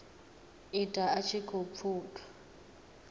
ita a tshi khou pfuka